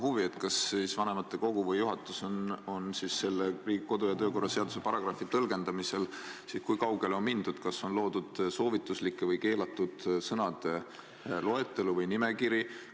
Kui kaugele on vanematekogu või juhatus selle kodu- ja töökorra seaduse paragrahvi tõlgendamisel läinud, kas on loodud soovituslike või keelatud sõnade loetelu või nimekiri?